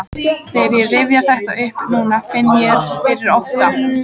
Þegar ég rifja þetta upp núna finn ég fyrir ótta.